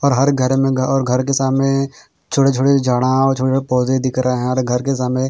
और हर घर में और घर के सामने छोटे छोटे झाड़ा और छोटे छोटे पौधे दिख रहे हैं हर घर के सामने--